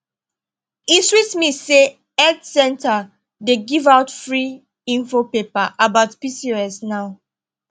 e sweet me say health center dey give out free info paper about pcos now